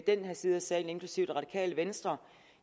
den her side af salen inklusive det radikale venstre